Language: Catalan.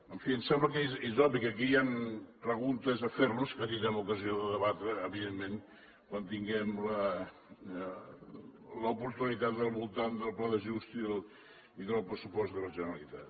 en fi em sembla que és obvi que aquí hi han preguntes a fer nos que tindrem ocasió de debatre evidentment quan en tinguem l’oportunitat al voltant del pla d’ajust i del pressupost de la generalitat